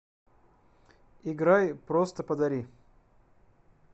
играй просто подари